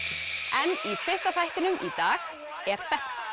en í fyrsta þættinum í dag er þetta